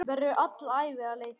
Verður alla ævi að leita.